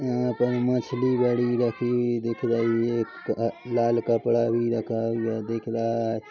यहाँ पर मछली बड़ी रखी हुई दिख रही है लाल कपड़ा भी रखा हुआ दिख रहा है।